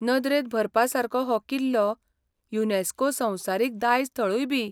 नदरेंत भरपासारको हो किल्लो युनेस्को संवसारीक दायज थळूयबी.